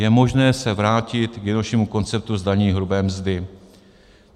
Je možné se vrátit k jednoduššímu konceptu zdanění hrubé mzdy.